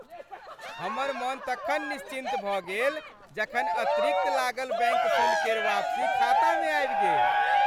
हमर मन तखन निश्चिन्त भऽ गेल जखन अतिरिक्त लागल बैंक शुल्क केर वापसी खातामे आबि गेल।